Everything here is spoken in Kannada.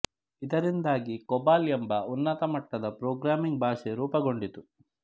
ಇದರಿಂದಾಗಿ ಕೊಬಾಲ್ ಎಂಬ ಉನ್ನತ ಮಟ್ಟದ ಪ್ರೋಗ್ರಾಮಿಂಗ್ ಭಾಷೆ ರೂಪಗೊಂಡಿತು